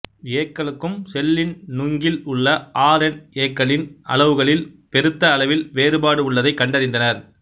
ஏ க்களுக்கும் செல்லின் நுங்கில் உள்ள ஆர் என் ஏ க்களுக்களின் அளவுகளில் பெருத்த அளவில் வேறுபாடு உள்ளதை கண்டறிந்தனர்